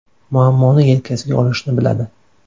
Muammoni yelkasiga olishni biladi.